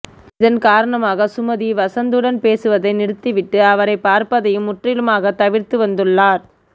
இதன் காரணமாக சுமதி வசந்த் உடன் பேசுவதை நிறுவிட்டு அவரை பார்ப்பதையும் முற்றிலுமாக தவிர்த்து வந்துள்ளார்